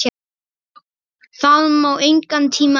Það má engan tíma missa!